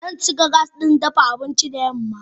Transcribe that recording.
Zan cika gas ɗin dafa abinci da yamma.